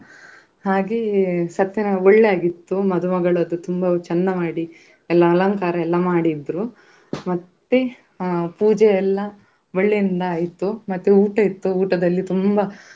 ಹಾಗೆ ಸತ್ಯ ಒಳ್ಳೆದಾಯ್ತು ಮದುಮಗಳದ್ದು ತುಂಬಾ ಚಂದ ಮಾಡಿ ಎಲ್ಲ ಅಲಂಕಾರ ಎಲ್ಲ ಮಾಡಿದ್ರು ಮತ್ತೆ ಅಹ್ ಪೂಜೆ ಎಲ್ಲ ಒಳ್ಳೆಯಿಂದ ಆಯ್ತು ಮತ್ತೆ ಊಟ ಇತ್ತು ಊಟದಲ್ಲಿ ತುಂಬಾ.